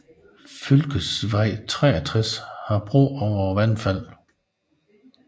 Fylkesvei 63 har bro over vandfaldet